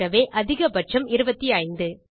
ஆகவே அதிக பட்சம் 25